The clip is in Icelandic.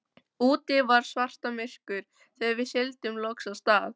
Úti var svartamyrkur þegar við sigldum loks af stað.